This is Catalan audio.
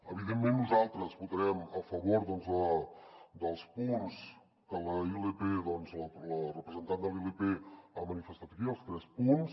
evidentment nosaltres votarem a favor dels punts que la representant de la ilp ha manifestat aquí els tres punts